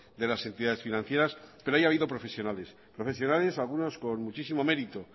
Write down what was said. de las entidades financieras pero ahí ha habido profesionales profesionales algunos con muchísimo mérito